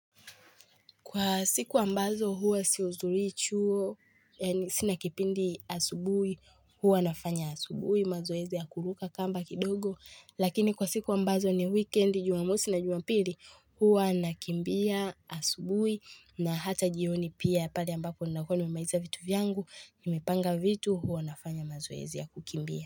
Kwa siku ambazo huwa si hudhuri chuo, sina kipindi asubuhi, huwa nafanya asubuhi, mazoezi ya kuruka kamba kidogo. Lakini kwa siku ambazo ni weekend, jumamosi na jumapili, huwa nakimbia asubuhi na hata jioni pia pale ambapo nakuwa ni memaiza vitu vyangu, nimepanga vitu, huwa nafanya mazoezi ya kukimbia.